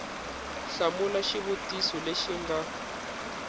hlamula xivutiso lexi xi nga